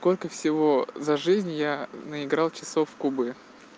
сколько всего за жизнь я наиграл часов кубы